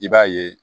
I b'a ye